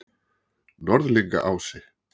Norðlingaási